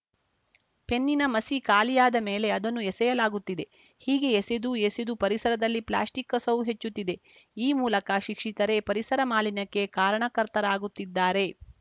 ಪೆನ್ನಿನ ಮಸಿ ಖಾಲಿಯಾದ ಮೇಲೆ ಅದನ್ನು ಎಸೆಯಲಾಗುತ್ತಿದೆ ಹೀಗೆ ಎಸೆದೂ ಎಸೆದೂ ಪರಿಸರದಲ್ಲಿ ಪ್ಲಾಸ್ಟಿಕ್‌ ಕಸವು ಹೆಚ್ಚುತ್ತಿದೆ ಈ ಮೂಲಕ ಶಿಕ್ಷಿತರೇ ಪರಿಸರ ಮಾಲಿನ್ಯಕ್ಕೆ ಕಾರಣಕರ್ತರಾಗುತ್ತಿದ್ದಾರೆ